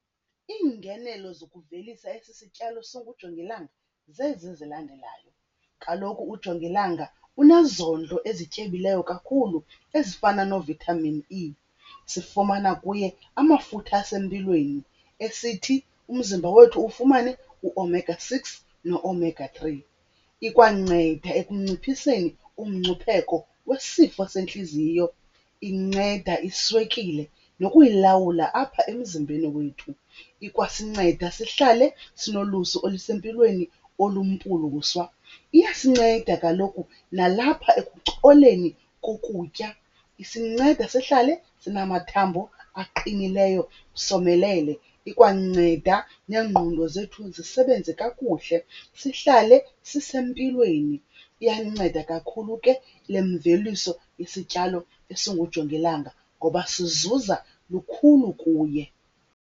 Iingenelo zokuvelisa esi sityalo singujongilanga zezi zilandelayo. Kaloku ujongilanga unezondlo ezityebileyo kakhulu ezifana no-vitaminEe. Sifumana kuye amafutha asempilweni esithi umzimba wethu ufumane u-omega six no-omega three. Ikwanceda ekunciphiseni umngcipheko wesifo sentliziyo. Inceda iswekile nokuyilawula apha emzimbeni wethu. Ikwasinceda sihlale sinolusu olusempilweni olumpuluswa. Iyasinceda kaloku nalapha ekucoleni kokutya, isinceda sihlale sinamathambo aqinileyo somelele. Ikwanceda neengqondo zethu zisebenze kakuhle sihlale sisempilweni. Iyanceda kakhulu ke le mveliso isityalo esingujongilanga ngoba sizuza lukhulu kuye.